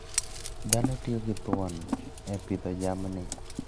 Dhano tiyo gi thuon e pidho jamni.